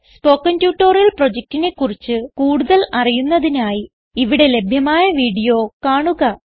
spoken tutorial പ്രൊജക്റ്റിനെ കുറിച്ച് കൂടുതൽ അറിയുന്നതിനായി ഇവിടെ ലഭ്യമായ വീഡിയോ കാണുക